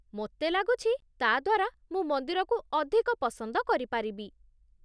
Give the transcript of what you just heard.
ମୋତେ ଲାଗୁଛି, ତା'ଦ୍ଵାରା ମୁଁ ମନ୍ଦିରକୁ ଅଧିକ ପସନ୍ଦ କରିପାରିବି